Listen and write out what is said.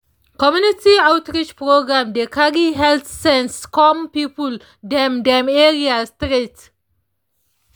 community outreach programs dey carry health sense come people dem dem area straight.